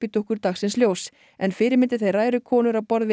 dúkkur dagsins ljós en fyrirmyndir þeirra eru konur á borð við